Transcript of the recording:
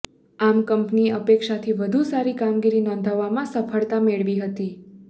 આમ કંપનીએ અપેક્ષાથી વધુ સારી કામગીરી નોંધાવવામાં સફળતા મેળવી હતી